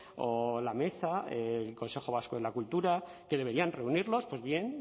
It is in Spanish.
o la mesa el consejo vasco de la cultura que deberían reunirlos pues bien